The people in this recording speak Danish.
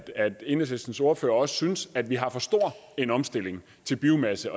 enhedslistens ordfører også synes at vi har for stor en omstilling til biomasse